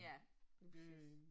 Ja, lige præcis